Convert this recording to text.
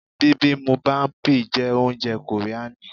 Bibimubapi jẹ́ oúnjẹ kòríani.